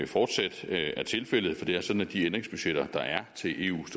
fortsat er tilfældet for det er sådan at de ændringsbudgetter der er til eus